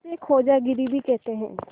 इसे खोजागिरी भी कहते हैं